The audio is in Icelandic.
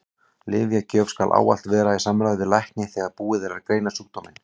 Lyfjagjöf skal ávallt vera í samráði við lækni þegar búið er að greina sjúkdóminn.